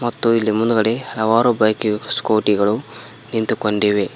ಮತ್ತು ಇಲ್ಲಿ ಮುಂದ್ಗಡೆ ಹಲವಾರು ಬೈಕ್ ಸ್ಕೂಟಿ ಗಳು ನಿಂತುಕೊಂಡಿವೆ.